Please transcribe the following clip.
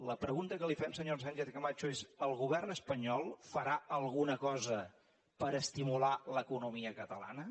la pregunta que li fem senyora sánchez camacho és el govern espanyol farà alguna cosa per estimular l’economia catalana